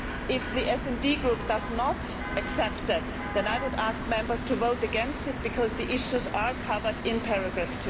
If the SD Group does not accept that, I would ask Members to vote against it because the issues are covered in paragraph